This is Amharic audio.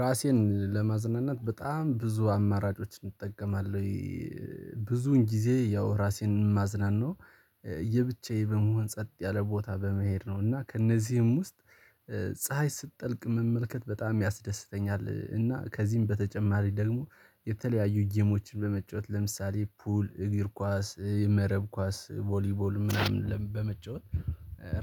ራሴን ለማዝናናት በጣም ብዙ አማራጮች እጠቀማለሁ። ብዙን ጊዜ ያው ራሴን ማዝናናው የብቻዬ በመሆን ጸጥ ያለ ቦታ በመሄድ ነው። እና ከእነዚህም ውስጥ ፀሀይ ስትጠልቅ መመልከት በጣም ያስደስተኛል። እና ከዚህም በተጨማሪ ደግሞ የተለያዩ ጌሞችን በመጫወት ለምሳሌ ፑል እግር ኳስ የመረብ ኳስ ቮሊቮል ምናምን በመጫወት።